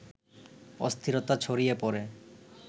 অস্থিরতা ছড়িয়ে পড়ে